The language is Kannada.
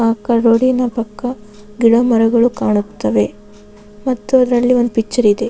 ಅಕ್ಕ ರೋಡಿನ ಪಕ್ಕ ಗಿಡ ಮರಗಳು ಕಾಣುತ್ತವೆ ಮತ್ತು ಅದರಲ್ಲಿ ಒಂದು ಪಿಕ್ಚರ್ ಇದೆ.